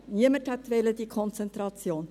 Niemand wollte diese Konzentration.